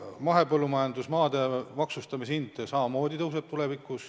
Mahepõllumajandusmaade hind samamoodi tõuseb tulevikus.